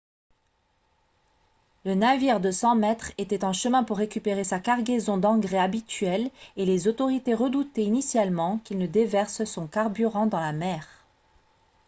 la navire de 100 mètres était en chemin pour récupérer sa cargaison d'engrais habituelle et les autorités redoutaient initialement qu'il ne déverse son carburant dans la mer